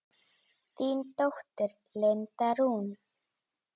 Þín dóttir, Linda Rún.